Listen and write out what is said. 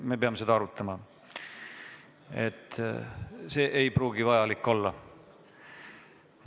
Me peame seda arutama, see ei pruugi vajalik olla.